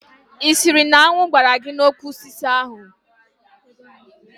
Ị sịrị na añụ gbaara gị n'úkwù osisi ahụ?